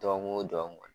Dɔgɔkun o dɔgɔkun